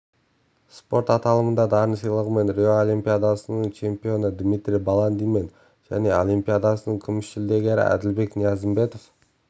спорт аталымында дарын сыйлығымен рио олимпиадасының чемпионы дмитрий баландин мен және олимпиадасының күміс жүлдегері әділбек ниязымбетов